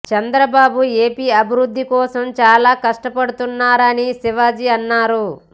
Chandrababu AP అభివృద్ధి కోసం చాల కష్టపడుతున్నారని శివాజీ అన్నారు